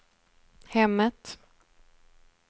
hemmet